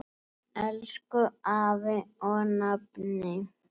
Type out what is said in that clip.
Elsku afi og nafni.